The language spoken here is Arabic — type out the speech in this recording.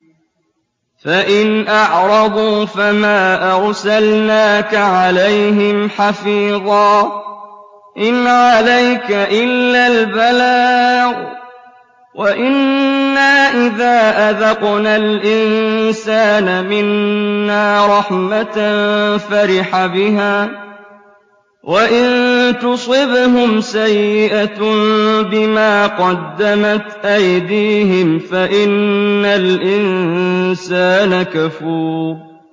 فَإِنْ أَعْرَضُوا فَمَا أَرْسَلْنَاكَ عَلَيْهِمْ حَفِيظًا ۖ إِنْ عَلَيْكَ إِلَّا الْبَلَاغُ ۗ وَإِنَّا إِذَا أَذَقْنَا الْإِنسَانَ مِنَّا رَحْمَةً فَرِحَ بِهَا ۖ وَإِن تُصِبْهُمْ سَيِّئَةٌ بِمَا قَدَّمَتْ أَيْدِيهِمْ فَإِنَّ الْإِنسَانَ كَفُورٌ